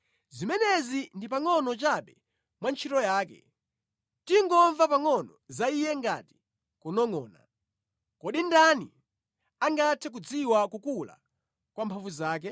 Zimenezi ndi pangʼono chabe mwa ntchito yake; tingomva pangʼono za Iye ngati kunongʼona! Kodi ndani angathe kudziwa kukula kwa mphamvu zake?”